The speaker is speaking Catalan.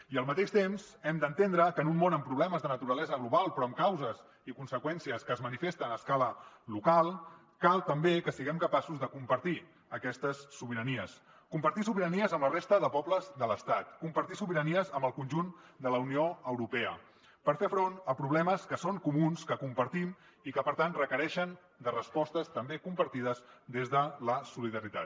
i al mateix temps hem d’entendre que en un món amb problemes de naturalesa global però amb causes i conseqüències que es manifesten a escala local cal també que siguem capaços de compartir aquestes sobiranies compartir sobiranies amb la resta de pobles de l’estat compartir sobiranies amb el conjunt de la unió europea per fer front a problemes que són comuns que compartim i que per tant requereixen respostes també compartides des de la solidaritat